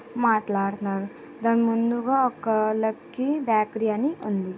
మాట్లాడతారు దాని ముందుగా ఒక లక్కీ బేకరీ అని ఉంది.